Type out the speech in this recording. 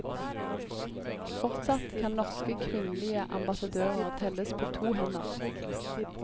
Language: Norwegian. Fortsatt kan norske kvinnelige ambassadører telles på to hender.